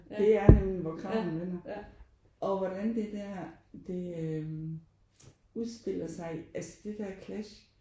Det er nemlig der hvor kragerne vender og hvordan det der det øh udspiller sig altså det der clash